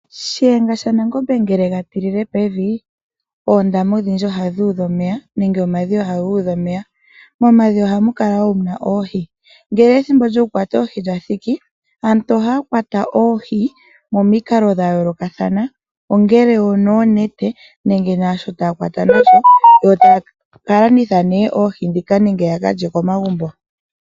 Shiyenga shaNangombe ngele ye ga tilile pevi oondama odhindji oha dhi udha omeya nenge omadhiya ohaga udha omeya. Momadhiya oha mu kala wo muna oohi. Ngele ethimbo lyokukwata oohi lya thiki aantu ohaa kwata oohi momikalo dha yoolokathana, ongele onoonete nenge naasho taa kwata nasho, yo taya ka landitha nee oohi ndhika nenge ya kalye komagumbo.